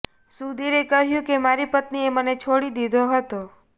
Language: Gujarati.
સુધીરે કહ્યું કે મારી પત્નીએ મને છોડી દીધો હતો